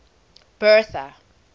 bertha